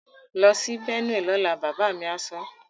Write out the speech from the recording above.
Lọ sí Benue lọ́la! Bàbá mi á sọ.